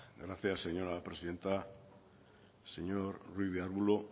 gracias señora presidenta señor ruiz de arbulo